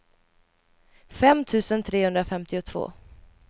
fem tusen trehundrafemtiotvå